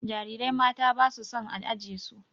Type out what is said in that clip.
Jarirai mata ba su son a aje su.